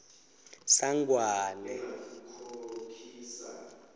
sangwane